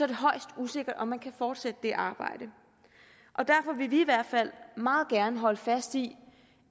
det højst usikkert om man kan fortsætte det arbejde og derfor vil vi i hvert fald meget gerne holde fast i